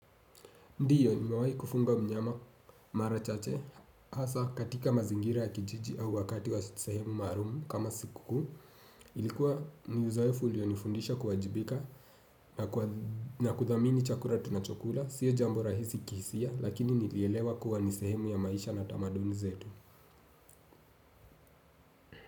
Ndiyo nimewahi kufuga mnyama marachache, hasa katika mazingira ya kijiji au wakati wa sehemu maalumu kama siku kuu, ilikuwa ni uzoefu ulionifundisha kuwajibika na kuthamini chakula tunachokula, sio jambo rahisi kihisia, lakini nilielewa kuwa ni sehemu ya maisha na tamaduni zetu.